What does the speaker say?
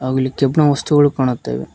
ಹಾಗು ಇಲ್ಲಿ ಕೆಬ್ಣ ವಸ್ತುಗಳು ಕಾಣುತ್ತಿವೆ.